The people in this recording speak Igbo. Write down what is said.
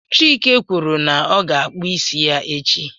Chike kwuru na ọ ga-akpụ isi ya echi